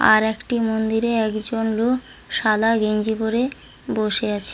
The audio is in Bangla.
আর একটি মন্দিরে একজন লোক সাদা গেঞ্জি পড়ে বসে আছে।